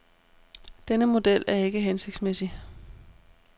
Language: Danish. Denne model er ikke hensigtsmæssig.